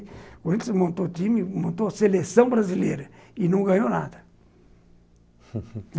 O Whindersson montou o time, montou a seleção brasileira e não ganhou nada